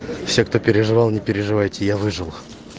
все кто переживал не переживайте я выжил